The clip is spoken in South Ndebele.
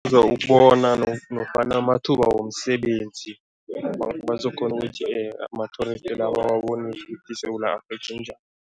Ukubona nofana amathuba womsebenzi bazokghona ukuthi ama-tourist la bawabonise ukuthi iSewula Afrika injani.